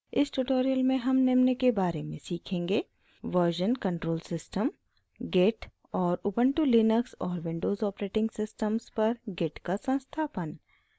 इस tutorial में हम निम्न के बारे में सीखेंगे: version control system git और उबन्टु लिनक्स और विंडोज़ ऑपरेटिंग सिस्टम्स पर git का संस्थापन